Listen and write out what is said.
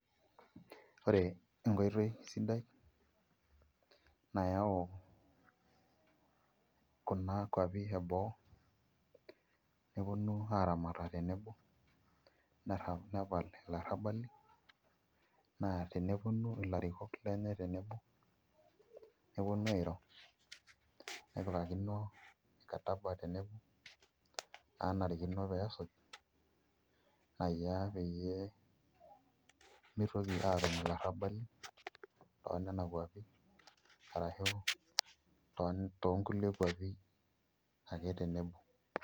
Ore enkoitoi sidai nayaau kunakuapi eboo neponu aaramata tenebo neyau, nepal ilarrabali naa tenetuma ilarikok lenye tenebo neponu airo nepikakino mkataba tenebo naanarikino pee esuj naishiaa peyie mitoki naa aatum ilarrabali toonena kwapi arashu toonkulie kwapi ake tenebo.